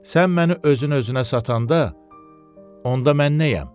Sən məni özün-özünə satanda, onda mən nəyəm?